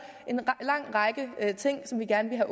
en lang række ting som vi gerne ville